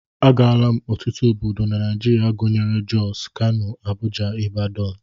Agaala m ọtụtụ obodo na Naijiria gụnyere Jos, Kano, Abuja, Ibadan